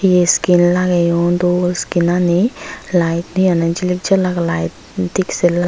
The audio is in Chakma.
he lageyon dol lite hi honne jilik jalak lite diski